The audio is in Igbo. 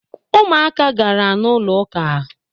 Umuaka gara n’ụlọụka